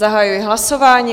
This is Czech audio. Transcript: Zahajuji hlasování.